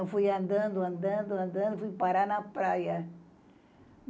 Eu fui andando, andando, andando e fui parar na praia.